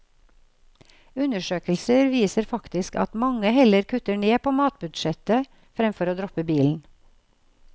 Undersøkelser viser faktisk at mange heller kutter ned på matbudsjettet fremfor å droppe bilen.